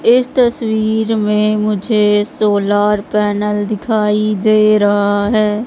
इस तस्वीर में मुझे सोलर पैनल दिखाई दे रहा है।